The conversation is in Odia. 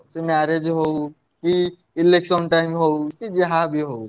Marriage ହଉ କି election time ହଉ ସିଏ ଯାହା ବି ହଉ।